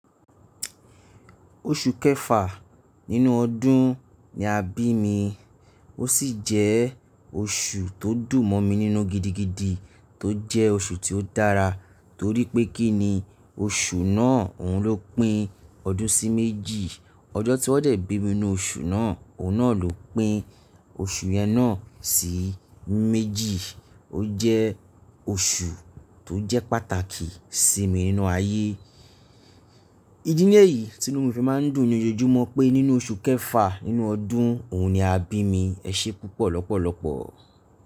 Oṣù kẹfà nínú ọdún ni a bí mi. O si je osu to dun mo mi ninu gidigidi to je osu ti o dara tori pe kinni, osu naa ohun lopin odun si meji ọjọ́ tí wọ́n dẹ̀ bí mi n nu oṣù náà, òhun náà ló pín oṣù yẹn náà sí méjì. Ó jẹ́ oṣù tó jẹ́ pàtàkì sí mi nínú ayé. Idí ni eyì tí inú mi fi máa ń dùn ni ojoojúmọ́ pé nínú oṣù kẹfà nínú ọdún òhun ni a bí mi. Ẹ ṣe púpọ̀ lọ́pọ̀lọ́pọ̀.